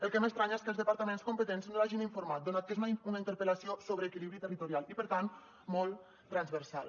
el que m’estranya és que els departaments competents no l’hagin informat donat que és una interpel·lació sobre equilibri territorial i per tant molt transversal